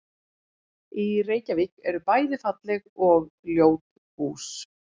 Í Reykjavík eru bæði falleg og ljót hús.